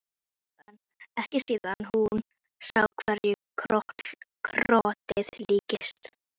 Harry, hversu margir dagar fram að næsta fríi?